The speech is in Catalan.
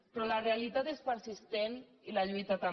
però la realitat és persistent i la lluita també